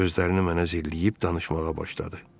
Gözlərini mənə zilləyib danışmağa başladı.